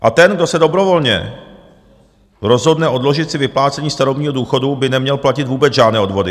A ten, kdo se dobrovolně rozhodne odložit si vyplácení starobního důchodu, by neměl platit vůbec žádné odvody.